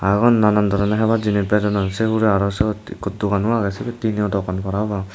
tey ubot nanan doroney hebar jinis bejodon sei hai hurey aro syot ikko dogano agey sibey tino dogan parapang.